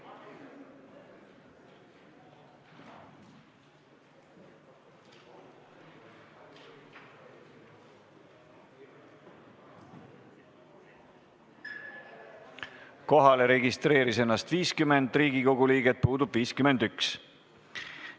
Kohaloleku kontroll Kohalolijaks registreeris ennast 50 Riigikogu liiget, puudub 51.